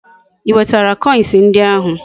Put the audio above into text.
I wetara koins ndi ahu?